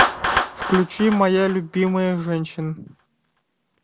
включи моя любимая женщина